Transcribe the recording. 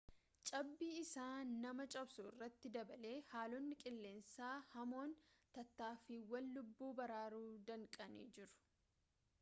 cabbii isa nama cabsu irratti dabalee haaloonni qilleensaa hamoon tattaaffiiwwan lubbuu baraaruu danqanii jiru